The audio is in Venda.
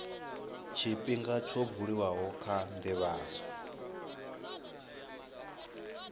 tshifhinga tsho buliwaho kha ndivhadzo